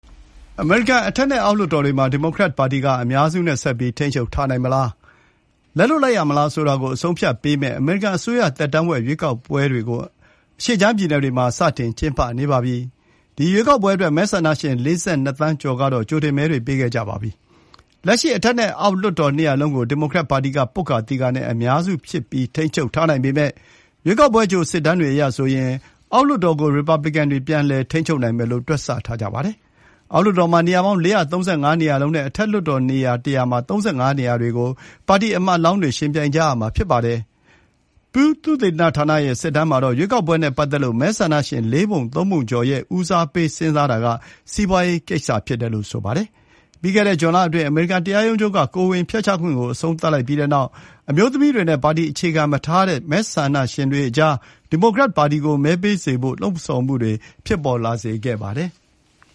အမေရိကန်အထက်နဲ့ အောက်လွှတ်တော်တွေမှာ ဒီမိုကရက်ပါတီက အများစုနဲ့ ဆက်ပြီး ထိန်းချုပ်ထားနိုင်မလား၊ လက်လွှတ်ရမလား ဆိုတာကို အဆုံးအဖြတ်ပေးမယ် အမေရိကန်အစိုးရသက်တမ်းဝက်မှာ ကျင်းပတဲ့ လွှတ်တော် ရွေးကောက်ပွဲတွေကို အရှေ့ခြမ်း ပြည်နယ်တွေမှာ စတင်ကျင်းပနေပါပြီ။ ဒီရွေးကောက်ပွဲအတွက် မဲဆန္ဒရှင် ၄၂ သန်းကျော်ကတော့ ကြိုတင်မဲတွေ ပေးခဲ့ကြပြီးပါပြီ။ လက်ရှိ အထက်နဲ့ အောက်လွှတ်တော် နှစ်ရပ်စလုံးကို ဒီမိုကရက်ပါတီက ပွတ်ကာသီကာနဲ့ အများစု ထိန်းချုပ်ထားနိုင်ပေမဲ့ ရွေးကောက်ပွဲအကြို စစ်တမ်းတွေအရဆိုရင် အောက်လွှတ်တော်ကို ရီပတ်ပလစ်ကန်တွေ ပြန်လည် ထိန်းချုပ်နိုင်မယ်လို့ တွက်ဆထားကြပါတယ်။ အောက်လွှတ်တော်မှာ နေရာပေါင်း ၄၃၅ နေရာလုံးနဲ့ အထက်လွှတ်တော်နေရာ ၁၀၀ မှာ ၃၅ နေရာတွေကို ပါတီကိုယ်စားလှယ်တွေ ယှဉ်ပြိုင်ကြရမှာ ဖြစ်ပါတယ်။ Pew သုတေသနဌာနရဲ့ စစ်တမ်းမှာတော့ ရွေးကောက်ပွဲနဲ့ပတ်သက်လို့ မဲဆန္ဒရှင် လေးပုံ သုံးပုံကျော်ရဲ့ ဦးစားပေး စဉ်းစားမှုဟာ စီးပွားရေးကိစ္စ ဖြစ်တယ်လို့ ဆိုပါတယ်။ ပြီးခဲ့တဲ့ဇွန်လအတွင်း အမေရိကန်တရားရုံးချုပ်က ကိုယ်ဝန်ဖျက်ချခွင့်ကို အဆုံးသတ်လိုက်တဲ့နောက်၊ အမျိုးသမီးတွေနဲ့ ပါတီအခြေခံမထားတဲ့ မဲဆန္ဒရှင်တွေအကြား ဒီမိုကရက်ပါတီကို မဲပေးစေဖို့ လှုံဆော်မှုတွေ ဖြစ်လာစေခဲ့ပါတယ်။